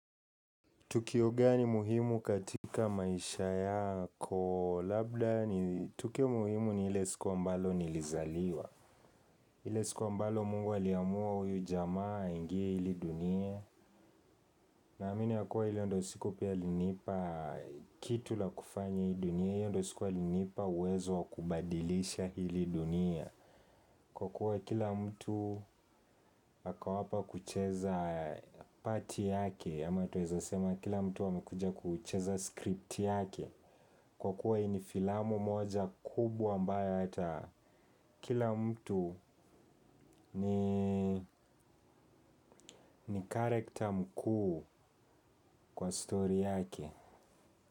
Tukio gani muhimu katika maisha yako labda ni tukio muhimu ni ile siku ambalo nilizaliwa ile siku ambalo Mungu aliamua huyu jamaa aingie hili dunia naamini ya kuwa hili ndio siku pia alinipa kitu la kufanya hii dunia. Hiyo ndio siku alinipa uwezo wa kubadilisha hili dunia. Kwa kuwa kila mtu ako hapa kucheza pati yake ama twaweza sema kila mtu amekuja kucheza scripti yake. Kwa kuwa hii ni filamu moja kubwa ambayo hata kila mtu ni character mkuu kwa story yake.